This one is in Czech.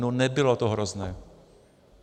No nebylo to hrozné.